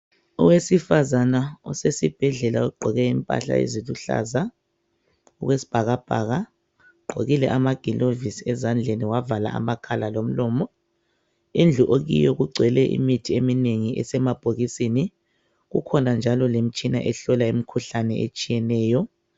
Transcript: Owesifazana osesibhedlela ogqoke impahla eziluhlaza okwesibhakabhaka ugqokile amagilovisi ezandleni wavala amakhala lomlomo. Indlu okiyo kugcwele imithi emnengi esemabhokisini, kukhona njalo lemtshina ehlola imkhuhlane etshiyeneyo.